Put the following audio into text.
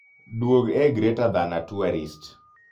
duog e greater than a tourist